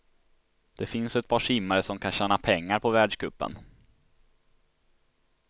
Det finns ett par simmare som kan tjäna pengar på världscupen.